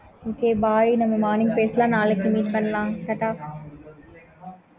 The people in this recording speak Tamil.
okay